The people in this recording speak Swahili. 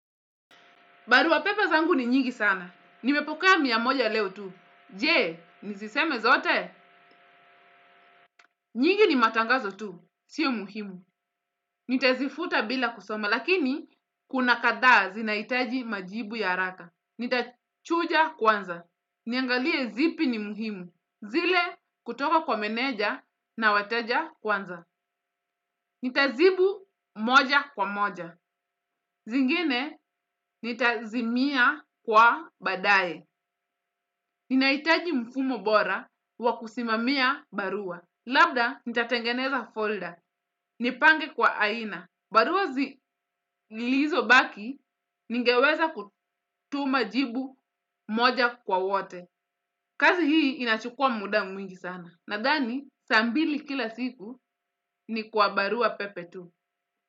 Barua pepe zangu ni nyingi sana. Nimepokea moiamoja leo tu. Jee, niziseme zote. Nyingi ni matangazo tu. Sio muhimu. Nitazifuta bila kusoma. Lakini, kuna kadhaa zinaitaji majibu ya haraka. Nitachuja kwanza. Niangalie zipi ni muhimu. Zile kutoka kwa meneja na wateja kwanza. Nitazibu moja kwa moja. Zingine, nitazimia kwa baadaye. Ninahitaji mfumo bora wakusimamia barua. Labda nitatengeneza folder, nipange kwa aina. Barua zilizobaki, ningeweza kutuma jibu moja kwa wote. Kazi hii inachukua muda mwingi sana. Nadhani, saa mbili kila siku ni kwa barua pepe tu.